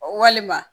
Walima